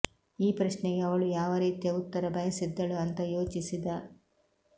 ಈ ಪ್ರಶ್ನೆಗೆ ಅವಳು ಯಾವ ರೀತಿಯ ಉತ್ತರ ಬಯಸಿದ್ದಳು ಅಂತ ಯೋಚಿಸಿದ